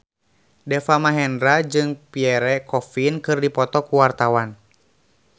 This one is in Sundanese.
Deva Mahendra jeung Pierre Coffin keur dipoto ku wartawan